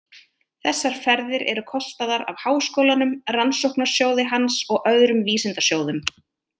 Þessar ferðir eru kostaðar af Háskólanum, Rannsóknasjóði hans og öðrum vísindasjóðum.